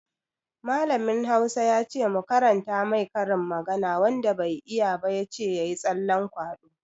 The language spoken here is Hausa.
Mallamin Hausa ya ce mu karanta mai karin magana, wanda bai iya ba ya ce ya yi tsallan kwaɗo.